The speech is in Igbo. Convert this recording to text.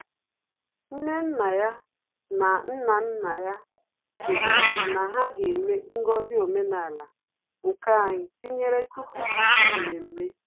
Nnenneya na Nnannaya sịrị ọnwụ na ha ga-eme ngọzi omenala, nke anyị tinyere tupu isi mmemme